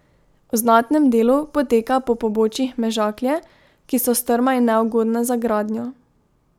V znatnem delu poteka po pobočjih Mežaklje, ki so strma in neugodna za gradnjo.